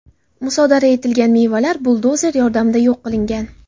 Musodara etilgan mevalar buldozer yordamida yo‘q qilingan.